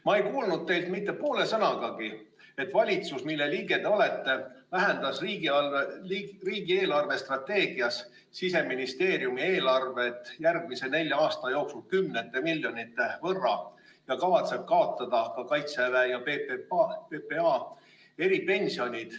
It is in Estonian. Ma ei kuulnud teilt mitte poolt sõnagi selle kohta, et valitsus, mille liige te olete, vähendas riigi eelarvestrateegias Siseministeeriumi eelarvet järgmise nelja aasta jooksul kümnete miljonite võrra ja kavatseb kaotada ka Kaitseväe ja PPA eripensionid.